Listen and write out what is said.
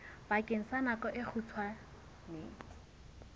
bakeng sa nako e kgutshwane